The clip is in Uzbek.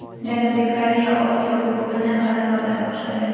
Janubiy Koreya Osiyo Kubogini g‘alaba bilan boshladi .